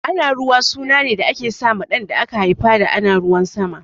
Anaruwa suna ne da ake sa ma ɗan da aka haifa ana ruwan sama